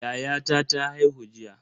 Yayata ta haihu jiya.